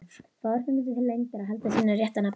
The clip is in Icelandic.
Fáir fengu til lengdar að halda sínu rétta nafni.